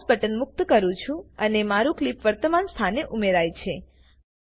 હું mouse button મુક્ત કરું છું અને મારું ક્લીપ વર્તમાન સ્થાને ઉમેરાય છે